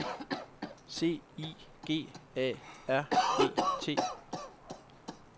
C I G A R E T